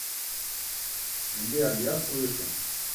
сбер я слышу